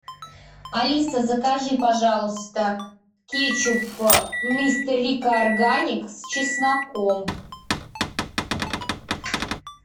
алиса закажи пожалуйста кетчуп мистер рикко органик с чесноком